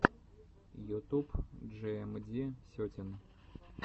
ютуб джиэмди сетин